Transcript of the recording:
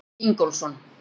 Helgi Ingólfsson.